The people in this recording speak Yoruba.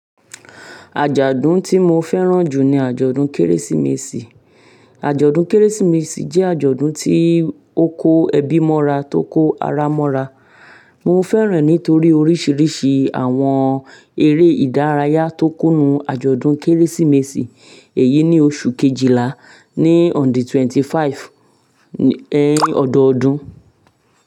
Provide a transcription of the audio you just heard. Àjọ̀dún tí mo fẹ́ràn jù ni àjọ̀dún Kérésìmesì. Àjọ̀dún Kérésìmesì jẹ́ àjọ̀dún tí ó kó ẹbí mọ́ra tó kó ara mọ́ra. Mo fẹ́ràn rẹ̀ nítorí oríṣiríṣi àwọn eré ìdárayá tó kúnù àjọ̀dún Kérésìmesì. Èyí ni oṣù kejìlá, ní on the twenty five ní ọdọọdún.